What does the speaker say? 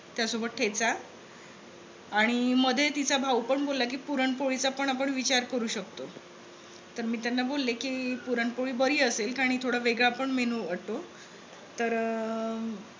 त्यासोबत ठेचा आणि मध्ये तिचा भाऊ पण बोलला कि पुरण पोळीचा पण आपण विचार करू शकतो. तर मी त्यांना बोलले कि पुरणपोळी बरी असेल कारण हे थोडा वेगळा पण menu वाटतो.